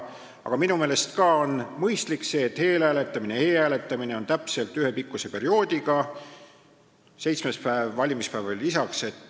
Aga minu meelest on mõistlik, kui eelhääletamine ja e-hääletamine on täpselt ühepikkuse perioodiga, seitsmes päev ehk valimispäev veel lisaks.